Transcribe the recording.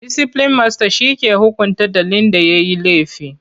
Disiplin masta ke hukunta ɗalin da yayi laifi.